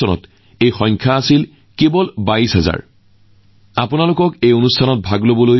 ছাত্ৰছাত্ৰীক প্ৰেৰণা যোগোৱাৰ লগতে পৰীক্ষাৰ মানসিক চাপৰ বিষয়ে সজাগতা বিয়পোৱাৰ বাবেও বহুতো উদ্ভাৱনীমূলক প্ৰচেষ্টা চলোৱা হৈছে